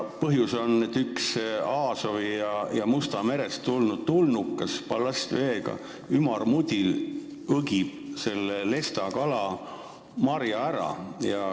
Põhjus on selles, et üks Aasovi ja Mustast merest ballastveega tulnud tulnukas, ümarmudil, õgib lestakala marja ära.